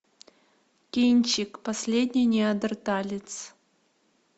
кинчик последний неандерталец